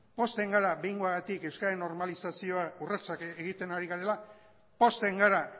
pozten gara behingoagatik euskeraren normalizazioa urratsak egiten ari garela pozten gara